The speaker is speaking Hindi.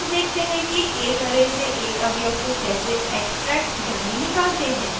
अब देखते हैं कि एक array से एक अवयव को कैसे extract यानी निकालते हैं